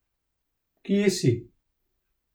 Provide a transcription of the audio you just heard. Kje si?